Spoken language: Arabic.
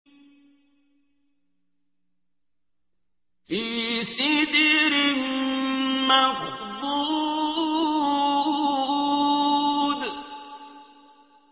فِي سِدْرٍ مَّخْضُودٍ